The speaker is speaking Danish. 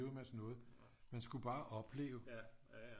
En masse noget man skulle bare opleve